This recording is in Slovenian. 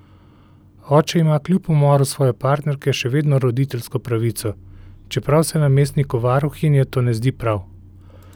Oče ima kljub umoru svoje partnerke še vedno roditeljsko pravico, čeprav se namestniku varuhinje to ne zdi prav.